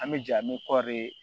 An bɛ ja min kɔri